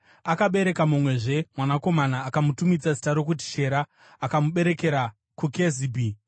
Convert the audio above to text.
Akabereka mumwezve mwanakomana akamutumidza zita rokuti Shera. Akamuberekera kuKezibhi.